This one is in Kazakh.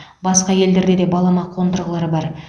басқа елдерде де балама қондырғылар бар